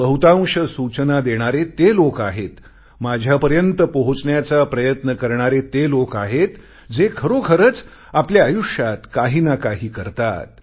बहुतांश सूचना देणारे ते लोक आहेत माझ्यापर्यंत पोहोचण्याचा प्रयत्न करणारे ते लोक आहेत जे खरोखरच आपल्या आयुष्यात काहीनाकाही करतात